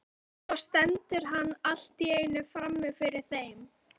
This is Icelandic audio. Svo stendur hann allt í einu frammi fyrir þeim.